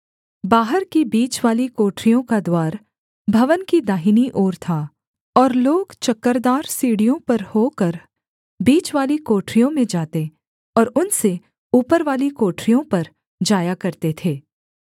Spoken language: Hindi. बाहर की बीचवाली कोठरियों का द्वार भवन की दाहिनी ओर था और लोग चक्करदार सीढ़ियों पर होकर बीचवाली कोठरियों में जाते और उनसे ऊपरवाली कोठरियों पर जाया करते थे